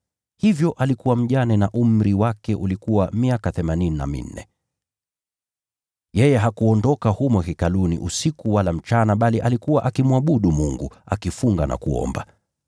Hivyo alikuwa mjane na umri wake ulikuwa miaka themanini na minne. Yeye hakuondoka humo Hekaluni usiku wala mchana, bali alikuwa akimwabudu Mungu, akifunga na kuomba.